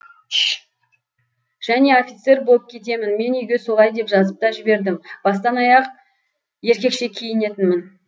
және офицер болып кетемін мен үйге солай деп жазып та жібердім бастан аяқ еркекше киінетінмін